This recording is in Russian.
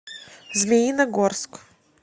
змеиногорск